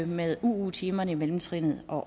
med uu timerne i mellemtrinet og